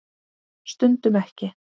Stundum ekki.